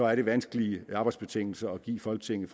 er det vanskelige arbejdsbetingelser at give folketinget